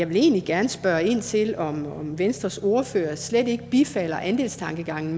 vil egentlig gerne spørge ind til om venstres ordfører slet ikke bifalder andelstankegangen